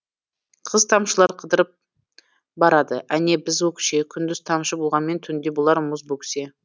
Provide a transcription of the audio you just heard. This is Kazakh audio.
қыз тамшылар қыдырып барады әне біз өкше күндіз тамшы болғанмен түнде болар мұз бөксе